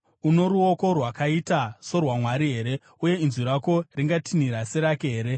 Uno ruoko rwakaita sorwaMwari here, uye inzwi rako ringatinhira serake here?